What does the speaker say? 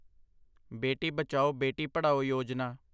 ਬੇਟੀ ਬਚਾਓ, ਬੇਟੀ ਪੜਾਓ ਯੋਜਨਾ